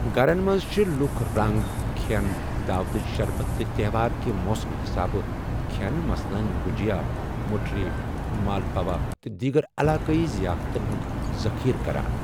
گَھرن منٛز چھِ لُکھ رنٛگ، کھیٚن، دعوتٕچ شربت تہٕ تہوار کہِ موسمہٕ حِسابہٕ کھیٚن مثلاً گُجیا، مٔٹھری ، مالپوا تہٕ دیٖگر علاقٲیی ظِیافتَن ہٗنٛد ذٔخیٖرٕ کَران۔